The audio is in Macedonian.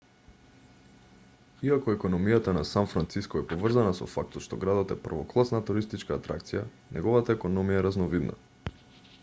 иако економијата на сан франциско е поврзана со фактот што градот е првокласна туристичка атракција неговата економија е разновидна